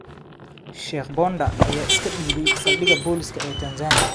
Sheikh Ponda ayaa iska dhiibay saldhiga booliska ee Tanzania